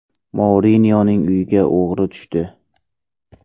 Mourinyoning uyiga o‘g‘ri tushdi .